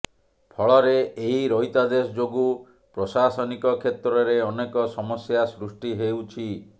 ଫଳରେ ଏହି ରହିତାଦେଶ ଯୋଗୁଁ ପ୍ରଶାସନିକ କ୍ଷେତ୍ରରେ ଅନେକ ସମସ୍ୟା ସୃଷ୍ଟି ହେଉଛି